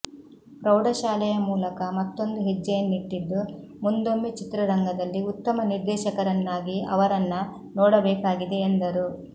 ಪ್ರೌಢಶಾಲೆಯ ಮೂಲಕ ಮತ್ತೊಂದು ಹೆಜ್ಜೆಯನ್ನಿಟ್ಟಿದ್ದು ಮುಂದೊಮ್ಮೆ ಚಿತ್ರರಂಗದಲ್ಲಿ ಉತ್ತಮ ನಿರ್ದೇಶಕರನ್ನಾಗಿ ಅವರನ್ನ ನೋಡಬೇಕಾಗಿದೆ ಎಂದರು